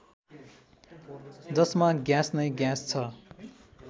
जसमा ग्यास नै ग्यास छ